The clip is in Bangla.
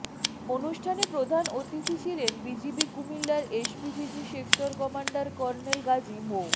অনুষ্ঠানে প্রধান অতিথি ছিলেন বিজিবি কুমিল্লার SPPG sector commander colonel Gazi মো